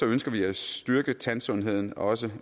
ønsker vi at styrke tandsundheden også